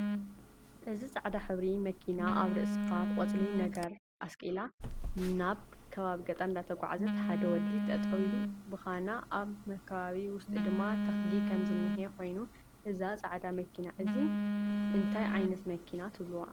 እዚ ፃዕዳ ሕብሪ መኪና ኣብ ርእስኣ ቆፅሊ ነገሪ ኣስቂላ ናብ ከባቢ ገጠር እዳተጓዓዘት ሓደ ወዲ ጠጠው ኢሉ ብካና ኣብ መካበባ ውሽጢ ድማ ተክሊ ከም ዝንህ ኮይኑ እዛ ፃዕዳ መኪና እዚ ኣ እንታይ ዓይነት መኪና ትብልዋ?